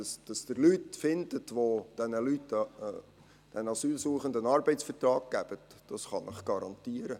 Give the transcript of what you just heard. Dass Sie Leute finden, welche diesen Asylsuchenden einen Arbeitsvertrag geben, kann ich Ihnen garantieren.